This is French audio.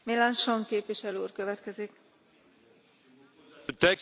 parce que je suis partisan d'une coopération approfondie avec la Chine.